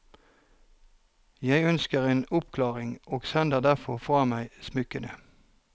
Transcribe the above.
Jeg ønsker en oppklaring, og sender derfor fra meg smykkene.